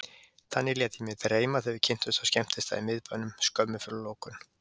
Þannig lét ég mig dreyma þegar við kynntumst á skemmtistað í miðbænum, skömmu fyrir lokun.